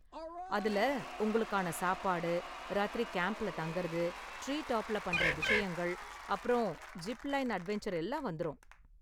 அதுல உங்களுக்கான சாப்பாடு, ராத்திரி கேம்ப்ல தங்கறது, டிரீடாப்ல பண்ற விஷயங்கள், அப்பறம் ஜிப்லைன் அட்வென்சர் எல்லாம் வந்துரும்.